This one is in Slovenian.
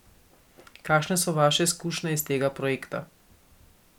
Kakšne so vaše izkušnje iz tega projekta?